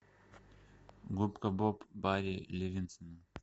губка боб бари левинтсона